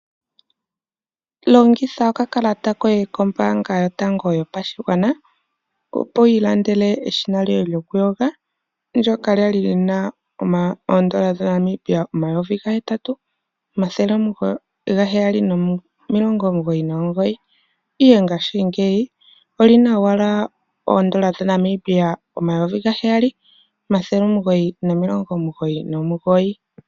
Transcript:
Longitha okakalata koye kombaanga yotango yopashigwana, opo wu ilandele eshina lyoye lyokuyoga ndoka lyali lyina oondola dhaNamibia omayovi gahetatu, omathele gaheyali nomilongo omugoyi nomugoyi, ihe ngashingeyi olina owala oondola dhaNamibia omayovi gaheyali, omathele omugoyi nomilongo omugoyi nomugoyi.